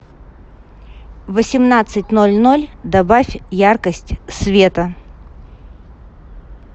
в восемнадцать ноль ноль добавь яркость света